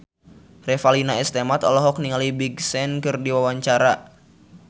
Revalina S. Temat olohok ningali Big Sean keur diwawancara